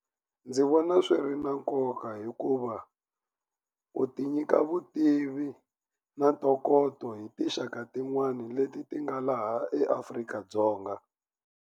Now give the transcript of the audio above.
Ndzi vona swi ri na nkoka hikuva u ti nyika vutivi na ntokoto hi tinxaka tin'wani leti ti nga laha eAfrika-Dzonga.